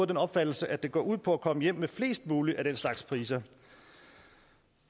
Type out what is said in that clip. den opfattelse at det går ud på at komme hjem med flest muligt af den slags priser